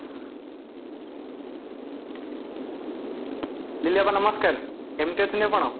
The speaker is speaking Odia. ଲିଲି ଅପା ନମସ୍କାର, କେମିତି ଅଛନ୍ତି ଆପଣ